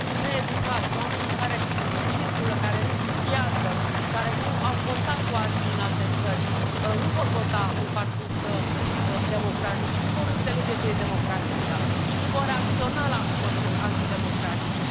Oamenii needucați, oamenii care nu circulă, care nu studiază, care nu au contact cu alții din alte țări nu vor vota un partid democratic și nu vor înțelege ce e democrația și nu vor reacționa la măsuri antidemocratice.